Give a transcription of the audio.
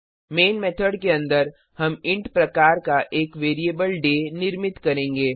main method के अन्दर हम इंट प्रकार का एक वैरिएबल डे निर्मित करेंगे